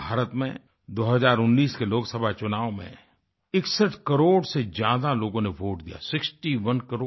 भारत में 2019 के लोकसभा चुनाव में 61 करोड़ से ज्यादा लोगों ने वोट दियाsixty oneCrore